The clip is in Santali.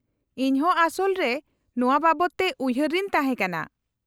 -ᱤᱧ ᱦᱚᱸ ᱟᱥᱚᱞ ᱨᱮ ᱱᱚᱶᱟ ᱵᱟᱵᱚᱫ ᱛᱮ ᱩᱭᱦᱟᱹᱨᱮᱧ ᱛᱟᱦᱮᱸ ᱠᱟᱱᱟ ᱾